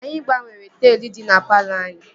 Anyị gbanwere taịl dị na palọ anyị